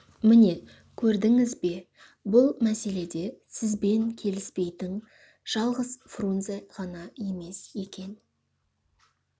міне көрдіңіз бе бұл мәселеде сізбен келіспейтін жалғыз фрунзе ғана емес екен